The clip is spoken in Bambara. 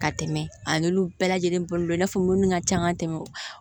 Ka tɛmɛ a n'olu bɛɛ lajɛlen balolen don i n'a fɔ minnu ka ca ka tɛmɛ